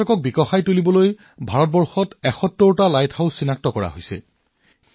পৰ্যটনৰ প্ৰচাৰৰ বাবে ভাৰতত ৭১ টা লাইট হাউচ চিনাক্ত কৰা হৈছে